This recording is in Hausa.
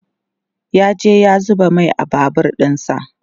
ya je ya zuba Mai a Babur ɗinsa